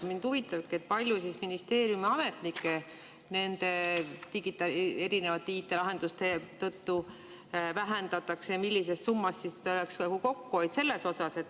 Mind huvitabki, kui palju ministeeriumi ametnike arvu tänu nendele erinevatele IT-lahendustele vähendatakse ja millises summas siis oleks kokkuhoid selles osas.